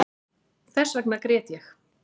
Þessvegna grét ég